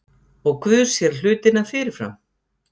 Og Guð sér hlutina fyrirfram.